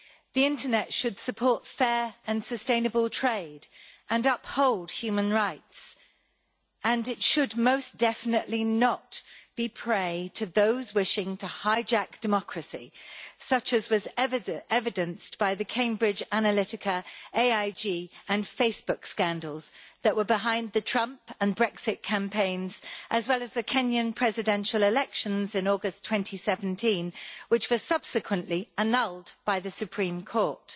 The internet should support fair and sustainable trade and uphold human rights, and it should most definitely not be prey to those wishing to hijack democracy, such as was evidenced by the Cambridge Analytica, AIG and Facebook scandals that were behind the Trump and Brexit campaigns and the Kenyan presidential election in August 2017, which was subsequently annulled by the Supreme Court.